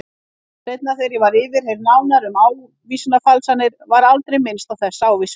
Seinna þegar ég var yfirheyrð nánar um ávísanafalsanirnar var aldrei minnst á þessa ávísun.